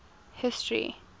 history